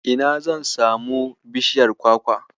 Ina zan samu bishiyar Kwakwa?